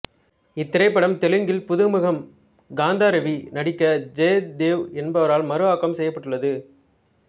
இத்திரைப்படம் தெலுங்கில் புதுமுகம் காந்த ரவி நடிக்க ஜெயதேவ் என்பரால் மறுஆக்கம் செய்யப்பட்டுள்ளது